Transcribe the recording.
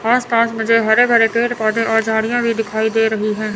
आस पास मुझे हरे भरे पेड़ पौधे और झाड़ियां भी दिखाई दे रही है।